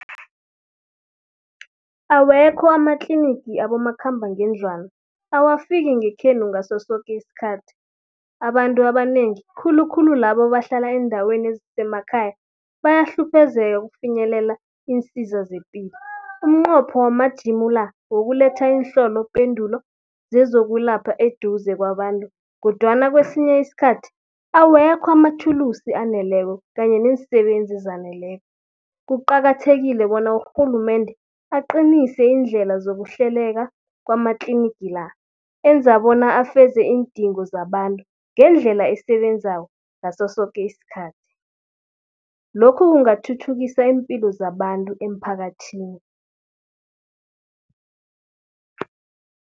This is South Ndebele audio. Awekho amatlinigi abomakhambangendlwana, awafiki ngekhenu ngaso soke iskhathi. Abantu abanengi khulukhulu labo ebahlala eendaweni ezisemakhaya bayahluphezeka ukufinyelela iinsiza zepilo. Umnqopho wamajimu la, wokuletha iinhlolopendulo zezokulapha eduze kwabantu kodwana kwesinye iskhathi, awekho amathulusi aneleko kanye neensebenzi ezaneleko. Kuqakathekile bona urhulumende aqinise iindlela zokuhleleka kwamatlinigi la, enza bona afeze iindingo zabantu ngendlela esebenzako, ngaso soke iskhathi. Lokhu kungathuthukisa iimpilo zabantu emphakathini.